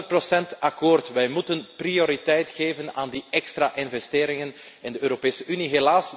Honderd procent akkoord wij moeten prioriteit geven aan die extra investeringen in de Europese Unie.